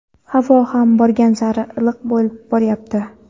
Havo ham borgan sari iliq bo‘lib boryapti.